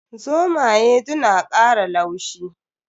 Zomaye du na kara laushi.